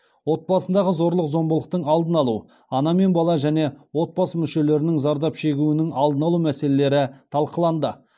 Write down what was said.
отбасындағы зорлық зомбылықтың алдын алу ана мен бала және отбасы мүшелерінің зардап шегуінің алдын алу мәселелері талқыланды